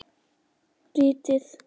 Ritið er í þremur bindum.